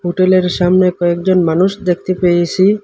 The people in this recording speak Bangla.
হোটেলের সামনে কয়েকজন মানুষ দেখতে পেয়েসি ।